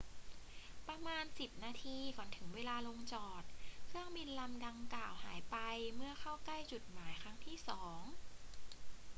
ประมาณสิบนาทีก่อนถึงเวลาลงจอด เครื่องบินลำดังกล่าวหายไปเมื่อเข้าใกล้จุดหมายครั้งที่สอง